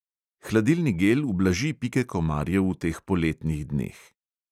Hladilni gel ublaži pike komarjev v teh poletnih dneh.